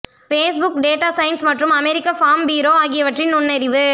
Facebook data science மற்றும் American Farm Bureau ஆகியவற்றின் நுண்ணறிவு